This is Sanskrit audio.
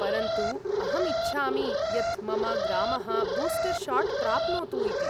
परन्तु अहम् इच्छामि यत् मम ग्रामः बूस्टर् शाट् प्राप्नोतु इति।